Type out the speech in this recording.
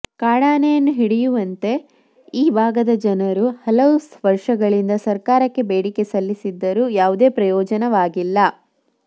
ಕಾಡಾನೆಯನ್ನು ಹಿಡಿಯುವಂತೆ ಈ ಭಾಗದ ಜನರು ಹಲವು ವರ್ಷಗಳಿಂದ ಸರ್ಕಾರಕ್ಕೆ ಬೇಡಿಕೆ ಸಲ್ಲಿಸಿದ್ದರೂ ಯಾವುದೇ ಪ್ರಯೋಜನವಾಗಿಲ್ಲ